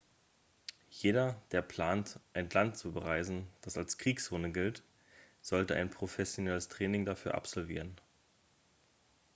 jeder der plant ein land zu bereisen das als kriegszone gilt sollte ein professionelles training dafür absolvieren